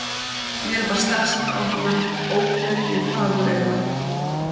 Mér varð starsýnt á hana, óvenju fagureyga.